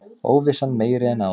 Óvissan meiri en áður